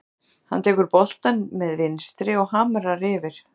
Hann tekur boltann með vinstri og hamrar yfir.